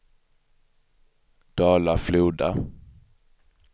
Dala-Floda